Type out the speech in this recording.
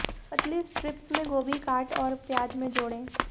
पतली स्ट्रिप्स में गोभी काट और प्याज में जोड़ें